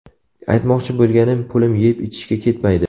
Aytmoqchi bo‘lganim, pulim yeb-ichishga ketmaydi.